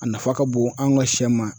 A nafa ka bon an ka sɛ ma